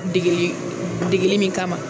Degeli min kama